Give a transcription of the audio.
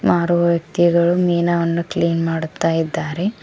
ಮಾರುವ ವ್ಯಕ್ತಿಗಳು ಮೀನವನ್ನು ಕ್ಲೀನ್ ಮಾಡುತ್ತ ಇದ್ದಾರೆ.